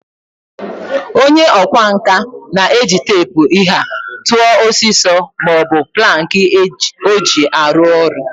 Onye okwa nka na-eji teepu ihe a tua osiso ma o bu planki o ji aru oru.